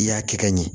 I y'a kɛ ka ɲɛ